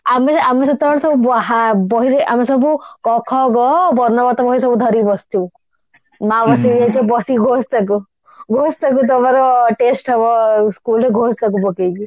ଆମେ ଆମେ ସେତେବେଳେ ସବୁ ବାହା ବହିରେ ଆମେ ସବୁ କ ଖ ଗ ବର୍ଣବୋଧ ବହି ସବୁ ଧରିକି ବସିଥିବୁ ମାଉସୀ ବି କହୁଥିବ ବସିକି ଘୋଷେ ତାକୁ ଘୋଷ ତାକୁ ତମର test ହବ schoolରେ ଘୋଷ ତାକୁ ପକେଇକି